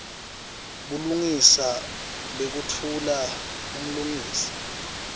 bulungisa bekutfula umfungisi